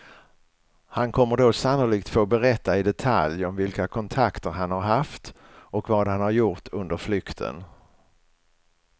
Han kommer då sannolikt få berätta i detalj om vilka kontakter han har haft och vad han har gjort under flykten.